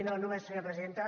no només senyora presidenta